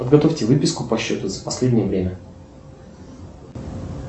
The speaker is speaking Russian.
подготовьте выписку по счету за последнее время